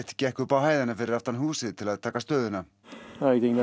gekk upp á hæðina fyrir aftan húsið til að taka stöðuna